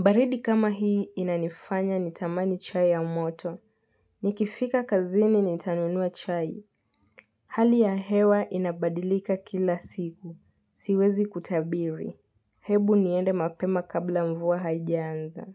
Baridi kama hii inanifanya nitamani chai ya moto. Nikifika kazini nitanunua chai. Hali ya hewa inabadilika kila siku. Siwezi kutabiri. Hebu niende mapema kabla mvua haijaanza.